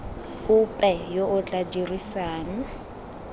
ope yo o tla dirisang